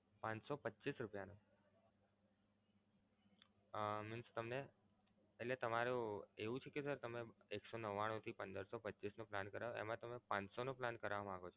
પાંચ સો પચ્ચીસ રૂપિયા નો? હા means તમને એટલે તમારું એવું છે કે sir તમે એક સો નવ્વાણું થી પંદર સો પચ્ચીસનો plan કરાવો એમા તમે પાનસો plan કરાવા માંગો છો?